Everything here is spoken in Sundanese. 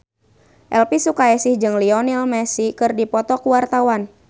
Elvy Sukaesih jeung Lionel Messi keur dipoto ku wartawan